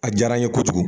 A diyara n ye kojugu